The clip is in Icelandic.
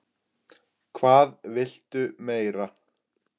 Hvað viltu meira?